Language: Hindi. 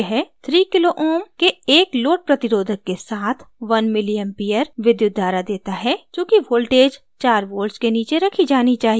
यह 3 kω kilo ma के एक load प्रतिरोधक resistor के साथ 1 ma milli एम्पीयर विद्युत धारा देता है चूँकि voltage चार volts के नीचे रखी जानी चाहिए